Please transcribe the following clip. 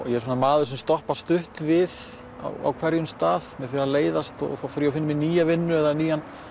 ég er svona maður sem stoppar stutt við á hverjum stað mér fer að leiðast og þá fer ég og finn mér nýja vinnu eða nýjan